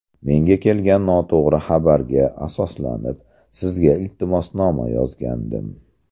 Menga kelgan noto‘g‘ri xabarga asoslanib, Sizga iltimosnoma yozgandim.